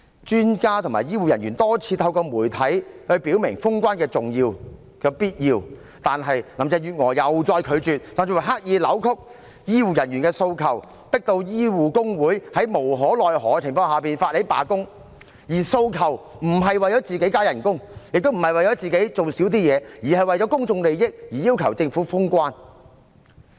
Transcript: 專家和醫護人員多次透過媒體表明封關的重要和必要，但林鄭月娥再次拒絕，甚至刻意扭曲醫護人員的訴求，迫使醫護工會在無可奈何的情況下發起罷工，而他們的訴求並非為了個人加薪，亦非為了減少個人的工作量，而是為了公眾利益而要求政府封關。